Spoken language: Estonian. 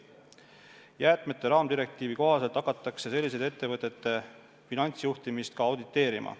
Jäätmete raamdirektiivi kohaselt hakatakse selliste ettevõtete finantsjuhtimist ka auditeerima.